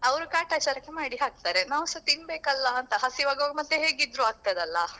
ಅವ್ರು ಕಾಟಚಾರಕ್ಕೆ ಮಾಡಿ ಹಾಕ್ತಾರೆ ನಾವ್ಸ ತಿನ್ಬೇಕಲ್ಲ ಅಂತ ಹಸಿವಾಗ್ವಾಗ ಮತ್ತೆ ಹೇಗಿದ್ರೂ ಆಗ್ತದಲ್ಲಾ.